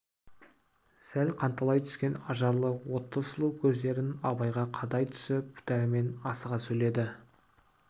сәл қанталай түскен ажарлы отты сұлу көздерін абайға қадай түсіп дәрмен асыға сөйледі